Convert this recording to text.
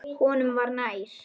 Honum var nær.